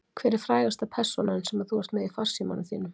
Hver er frægasta persónan sem þú ert með í farsímanum þínum?